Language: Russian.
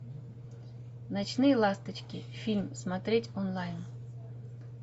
ночные ласточки фильм смотреть онлайн